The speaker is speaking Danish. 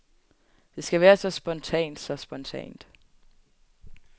Det skal være så spontant, så spontant.